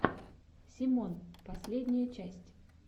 семон последняя часть